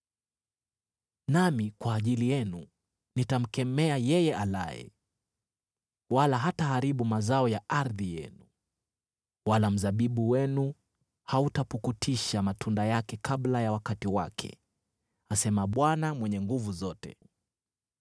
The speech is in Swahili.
Nami kwa ajili yenu nitamkemea yeye alaye, wala hataharibu mazao ya ardhi yenu, wala mzabibu wenu hautapukutisha matunda yake kabla ya wakati wake,” asema Bwana Mwenye Nguvu Zote.